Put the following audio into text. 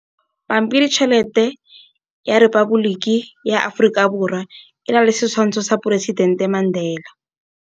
Pampiritšheletê ya Repaboliki ya Aforika Borwa e na le setshwantshô sa poresitentê Mandela.